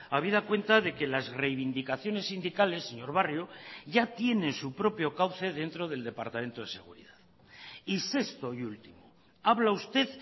habida cuenta de que las reivindicaciones sindicales señor barrio ya tiene su propio cauce dentro del departamento de seguridad y sexto y último habla usted